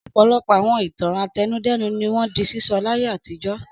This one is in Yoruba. Ọ̀pọ̀lọpọ̀ àwọn ìtàn àtẹnudẹ́nu ni wọ́n di sísọ láyé àtijọ́.